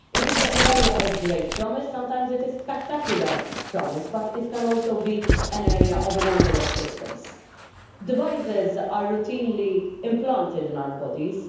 It is an area of great promise sometimes spectacular promise but it can also be an area of a number of pitfalls. Devices are routinely implanted in our bodies.